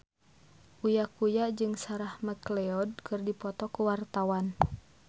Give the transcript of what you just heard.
Uya Kuya jeung Sarah McLeod keur dipoto ku wartawan